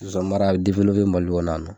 Zozanimara a bɛ Mali kɔnɔ yan nɔ.